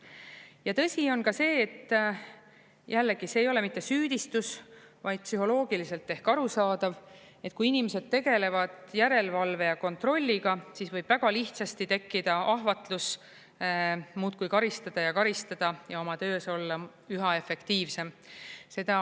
Ja tõsi on ka see, et jällegi, see ei ole süüdistus, vaid psühholoogiliselt ehk arusaadav, et kui inimesed tegelevad järelevalve ja kontrolliga, siis võib väga lihtsasti tekkida ahvatlus muudkui karistada ja karistada ja oma töös olla üha efektiivsem.